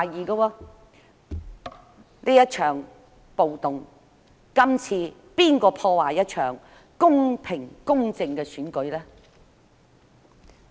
這場暴動......今次又是誰破壞一場公平公正的選舉？